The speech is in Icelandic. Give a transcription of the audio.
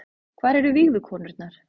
Hvar eru vígðu konurnar